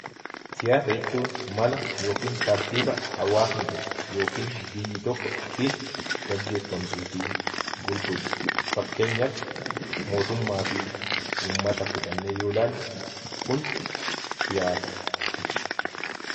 Siyaasa jechuun mala yookiin tartiiba hawwasni tokko yookiin biyyi tokko itti geggeeffamtuu fi bultudha. fakkeenyaaf, mootummaa fi uummata fudhanne yoo ilaalle, kun siyaasa ibsa.